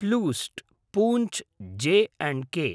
प्लूस्ट् पूञ्छ् जे अण्ड् के